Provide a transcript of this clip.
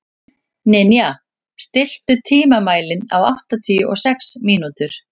Ninja, stilltu tímamælinn á áttatíu og sex mínútur.